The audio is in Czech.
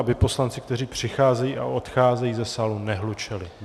Aby poslanci, kteří přicházejí a odcházejí ze sálu, nehlučeli.